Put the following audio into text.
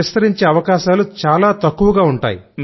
విస్తరించే అవకాశాలు తక్కువగా ఉంటాయి